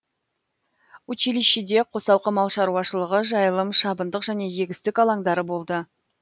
училищеде қосалқы мал шаруашылығы жайылым шабындық және егістік алаңдары болды